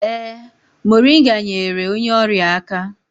Ee, moringa nyeere onye ọrịa aka